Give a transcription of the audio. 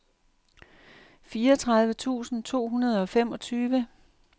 fireogtredive tusind to hundrede og femogtyve